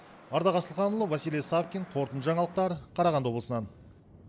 ардақ асылханұлы василий савкин қорытынды жаңалықтар қарағанды облысынан